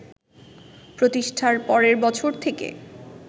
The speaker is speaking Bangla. প্রতিষ্ঠার পরের বছর থেকে